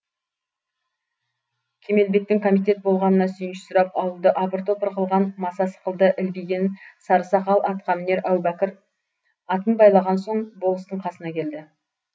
кемелбектің комитет болғанына сүйінші сұрап ауылды апыр топыр қылған маса сықылды ілбиген сары сақал атқамінер әубәкір атын байлаған соң болыстың қасына келді